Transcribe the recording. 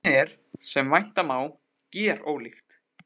En efnið er, sem vænta má, gerólíkt.